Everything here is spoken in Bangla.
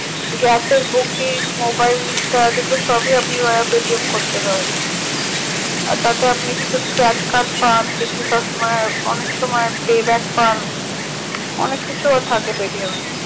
gas এর booking মোবাইল recharge এ গুলো সবই আপনি Paytm করতে পারেন